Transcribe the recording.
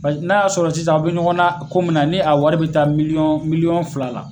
n'a y'a sɔrɔ sisan aw bɛ ɲɔgɔnna ko min na ni a wari bɛ taa miliyɔɔn miliyɔn fila la.